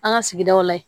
An ka sigidaw la yen